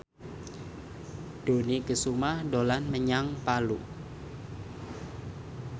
Dony Kesuma dolan menyang Palu